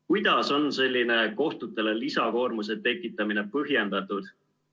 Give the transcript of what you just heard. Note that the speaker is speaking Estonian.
Kuidas on selline kohtutele lisakoormuse tekitamine põhjendatud?